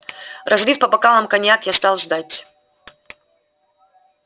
разлив по бокалам коньяк я стал ждать